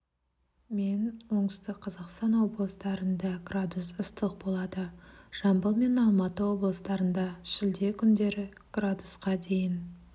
мен оңтүстік қазақстан облыстарында градус ыстық болады жамбыл мен алматы облыстарында шілде күндері градусқа дейін